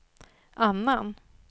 annan